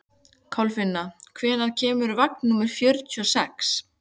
Kolfinna, hvenær kemur vagn númer fjörutíu og sex?